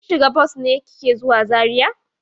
Kin shiga bas ne da kike zuwa Zariya?